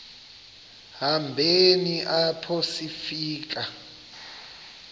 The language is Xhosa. hambeni apho sifika